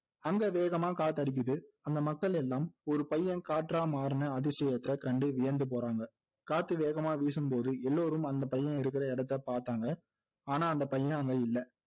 அங்க வேகமா காத்தடிக்குது அந்த மக்கள் எல்லாம் ஒரு பையன் காற்றா மாறுன அதிசயத்தை கண்டு வியந்து போறாங்க காற்று வேகமா வீசும்போது எலோரும் அந்த பையன் இருக்கிற இடத்தை பாத்தாங்க ஆனா அந்த பையன் அங்க இல்லை